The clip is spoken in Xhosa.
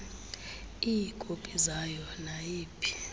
iikopi zayo nayiphi